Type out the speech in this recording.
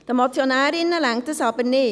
Den Motionärinnen reicht dies aber nicht.